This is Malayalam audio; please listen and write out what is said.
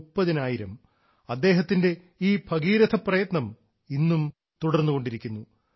മുപ്പതിനായിരം അദ്ദേഹത്തിൻറെ ഈ ഭഗീരഥപ്രയത്നം ഇന്നും തുടർന്നുകൊണ്ടിരിക്കുന്നു